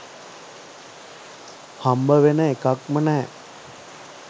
හම්බ වෙන එකක්ම නෑ